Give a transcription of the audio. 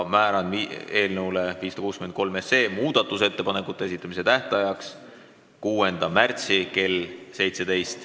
Määran eelnõu 563 muudatusettepanekute esitamise tähtajaks 6. märtsi kell 17.